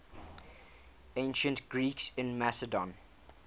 ancient greeks in macedon